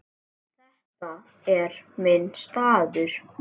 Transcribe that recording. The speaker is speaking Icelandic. Þetta er minn staður.